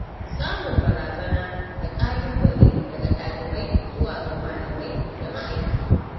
Samun barazana da ƙalu-bale daga dalibai zuwa ga malamai da ma'aikata.